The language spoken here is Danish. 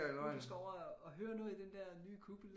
Du skal over og høre noget i den der nye kuppel